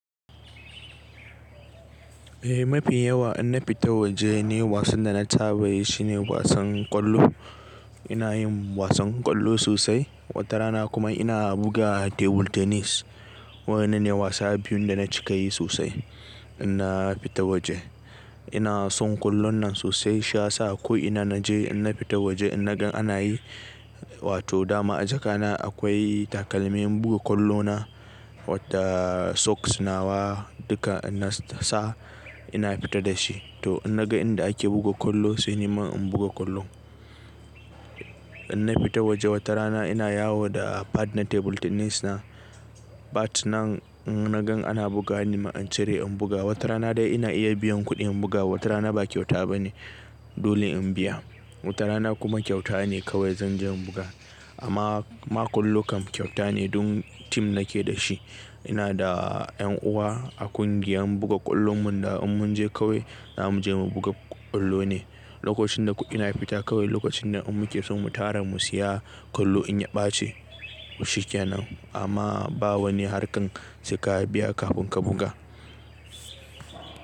Eh, mafi yawa in na fita waje nai wasan da na saba yi shine wasan ƙwallo. Ina yin wasan ƙwallo sosai, wata rana kuma ina buga table tennis. Waɗannan ne wasa biyun da na cika yi sosai in na fita waje. Ina son ƙwallon nan sosai, shi ya sa ko ina na je in na fita waje in na gan ana yi, wato dama a jaka na akwai takalmin buga ƙwallo na, wata socks nawa duka ina sa ina fita da shi. To inna ga inda ake buga ƙwallo sai ni ma in buga ƙwallo. Inna fita waje wata rana ina yawo da pad na table tennis na, bat nan in na gan ana buga ni ma in cire in buga. Wata rana dai ina iya biyan kuɗi in buga, wata rana ba kyauta bane dole in biya. Wata rana kuma kyauta ne kawai zan je in buga. Amma ma ƙwallo kam kyauta ne dun team na ke da shi. Ina da yan uwa a ƙungiyar buga ƙwallon mu da in mun je kawai, za mu je mu buga ƙwallo ne. Lokacin da kuɗi na fita kawai lokacin da un muke son mu tara mu siya ƙwallo in ya ɓace mu shiga nan. Amma ba wani harkan seka biya kafin ka buga.